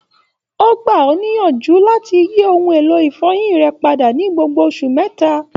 O gba ọ niyanju lati yi oun elo ifọyin rẹ pada ni gbogbo oṣu mẹta.